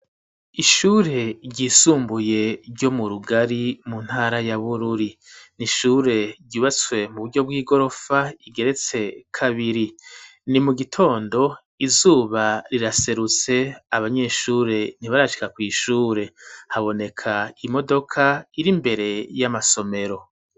Ishure ryisumbuye ryo mu Rugari mu ntara ya Bururi, n'ishure ryubatswe mu buryo bw'igorofa igeretse kabiri ,ni mu gitondo izuba riraserutse abanyeshure ntibarashika kw'ishure, haboneka imodoka iri mbere y'amasomero.